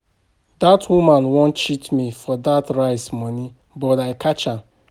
Dat woman wan cheat me for dat rice money but I catch am